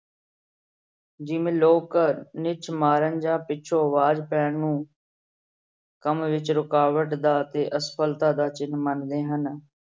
ਜਿਵੇਂ ਲੋਕ ਨਿਛ ਮਾਰਨ ਜਾਂ ਪਿੱਛੋਂ ਆਵਾਜ਼ ਪੈਣ ਨੂੰ ਕੰਮ ਵਿੱਚ ਰੁਕਾਵਟ ਦਾ ਤੇ ਅਸਫ਼ਲਤਾ ਦਾ ਚਿੰਨ ਮੰਨਦੇ ਹਨ।